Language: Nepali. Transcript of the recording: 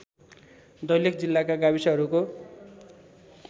दैलेख जिल्लाका गाविसहरूको